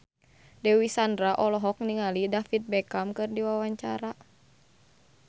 Dewi Sandra olohok ningali David Beckham keur diwawancara